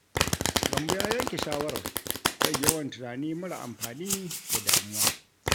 Gambo ya yanke shawarar rage yawan tunani mara amfani da damuwa.